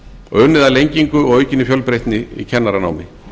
og unnið að lengingu og aukinni fjölbreytni í kennaranámi